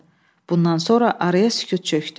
Bundan sonra araya sükut çökdü.